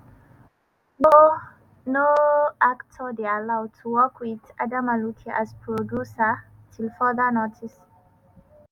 "no "no actor dey allowed to work wit adamma luke as producer till further notice.